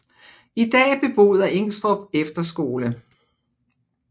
I dag beboet af Ingstrup Efterskole